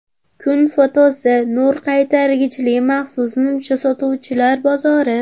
Kun fotosi: Nur qaytargichli maxsus nimcha sotuvchilar bozori.